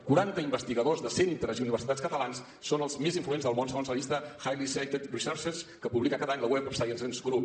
quaranta investigadors de centres i universitats catalans són els més influents del món segons la llista highly cited researchers que publica cada any el web of science group